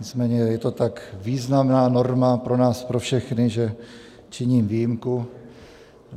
Nicméně je to tak významná norma pro nás pro všechny, že činím výjimku.